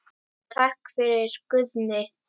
Takk fyrir, Guðni.